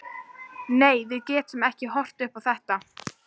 Nei, við getum ekki horft upp á þetta.